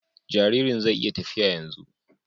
Jaririn zai iya tafiya yanzu